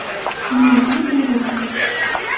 Qanday qilib rad etasiz?